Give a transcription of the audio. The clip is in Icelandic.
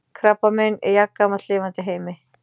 Krabbamein er jafngamalt lifandi heimi.